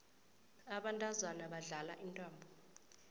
abantazana badlala intambo